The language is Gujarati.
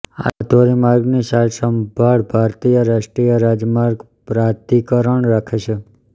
આ ધોરીમાર્ગની સારસંભાળ ભારતીય રાષ્ટ્રીય રાજમાર્ગ પ્રાધિકરણ રાખે છે